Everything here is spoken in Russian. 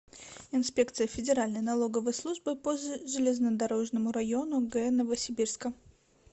инспекция федеральной налоговой службы по железнодорожному району г новосибирска